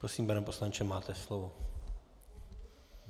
Prosím, pane poslanče, máte slovo.